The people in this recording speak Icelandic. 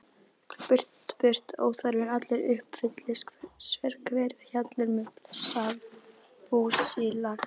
Burt burt óþarfinn allur, uppfyllist sérhver hjallur með blessað búsílag.